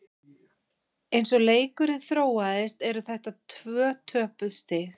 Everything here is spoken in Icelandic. Eins og leikurinn þróaðist eru þetta tvö töpuð stig.